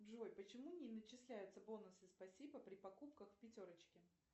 джой почему не начисляются бонусы спасибо при покупках в пятерочке